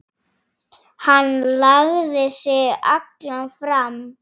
Hann lagði sig allan fram.